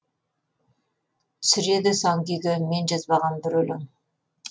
түсіреді сан күйге мен жазбаған бір өлең